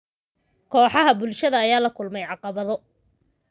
Kooxaha bulshada ayaa la kulmay caqabado.